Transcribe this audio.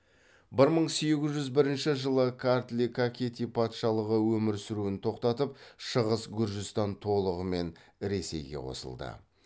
бір мың сегіз жүз бірінші жылы картли кахети патшалығы өмір сүруін тоқтатып шығыс гүржістан толығымен ресейге қосылды